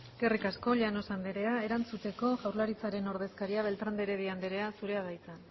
eskerrik asko llanos anderea erantzuteko jaurlaritzaren ordezkaria beltran de heredia anderea zurea da hitza